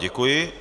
Děkuji.